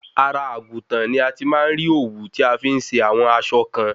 Ara àgùntàn ni a ti má ń rí òwú tí a fi ń se àwọn aṣọ kan